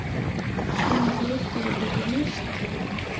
Hann veit bara betur næst.